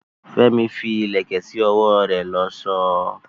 Fẹ́mi fi ìlẹ̀kẹ̀ ṣe ọwọ́ rẹ̀ lọ́ṣọ̀ọ́.